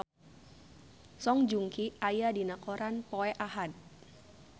Song Joong Ki aya dina koran poe Ahad